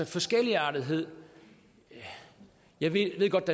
forskelligartethed jeg ved godt